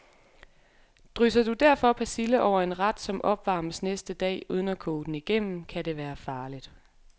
Drysser du derfor persille over en ret, som opvarmes næste dag, uden at koge den igennem, kan det være farligt.